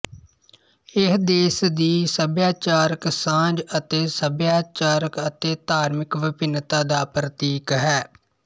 ਇਹ ਦੇਸ਼ ਦੀ ਭਾਈਚਾਰਕ ਸਾਂਝ ਅਤੇ ਸੱਭਿਆਚਾਰਕ ਅਤੇ ਧਾਰਮਿਕ ਵਿਭਿੰਨਤਾ ਦਾ ਪ੍ਰਤੀਕ ਹੈ